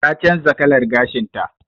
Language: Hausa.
Ta canza kalar gashin ta.